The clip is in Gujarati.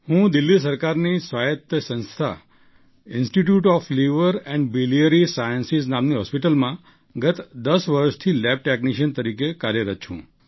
હું દિલ્લી સરકારની સ્વાયત્ત સંસ્થા institute of liver and biliary sciences નામની હૉસ્પિટલમાં ગત દસ વર્ષથી લેબ ટૅક્નિશિયન તરીકે કાર્યરત છું